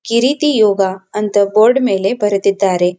ಕಿರೀತಿ ಯೋಗ ಅಂತ ಬೋರ್ಡ್ ಮೇಲೆ ಬರೆದಿದ್ದಾರೆ.